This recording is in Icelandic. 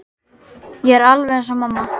Ég er alveg eins og mamma.